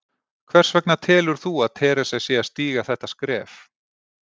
Hvers vegna telur þú að Theresa sé að stíga þetta skref?